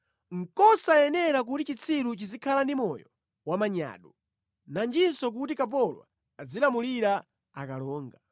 Nʼkosayenera kuti chitsiru chizikhala ndi moyo wamanyado, nanjinso kuti kapolo azilamulira akalonga!